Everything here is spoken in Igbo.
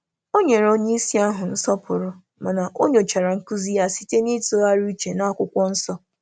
Ọ gọ̀zìrì onye isi, ma nyòchàrà ihe a kụ̀ziri site n’echiche onwe ya na Akwụkwọ Nsọ.